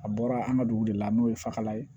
A bɔra an ka dugu de la n'o ye fakalan ye